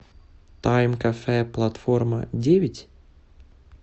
тайм кафе платформа девять